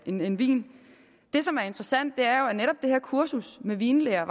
en vin vin det som er interessant er jo at netop det her kursus i vinlære